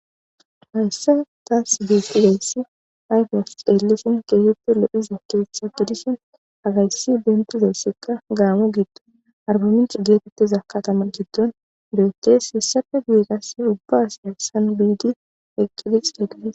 Hayssa taas dis idayssi aydes eellishin keesetti lo7iza keeththa gidishin agayssi bentu doossekka gaamo gitto arbaminci geetettiza katama giddon do7etes hissafe giiras ubbaasya san biidi eqqidiq eqades.